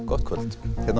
gott kvöld hérna